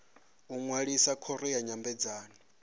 u ṅwalisa khoro ya nyambedzano